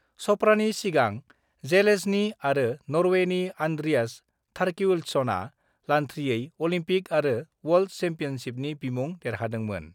चप्रानि सिगां जेलेज्नी आरो नर्वेनि आन्द्रियास थरकिल्डसनआ लान्थ्रियै अलिम्पिक आरो वर्ल्ड सेम्पियनसिपनि बिमुं देरहादोंमोन।